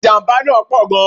Ìjàmbá náà pọ̀ gan